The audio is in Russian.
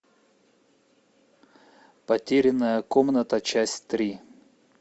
потерянная комната часть три